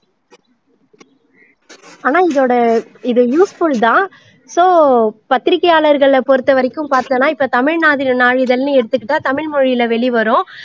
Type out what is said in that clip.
ஆனா இதோட இது useful தான் so பத்திரிக்கையாளர்களை பொறுத்த வரைக்கும் பார்த்தோம்னா இப்போ தமிழ் நாதி நாளிதழ்னு எடுத்துக்கிட்டா தமிழ் மொழியில வெளிவரும்